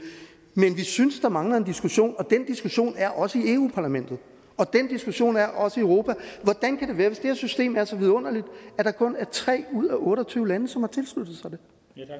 men vi synes der mangler en diskussion og den diskussion er også i europa parlamentet og den diskussion er også i europa hvordan kan det være hvis det her system er så vidunderligt at der kun er tre ud af otte og tyve lande som har tilsluttet sig det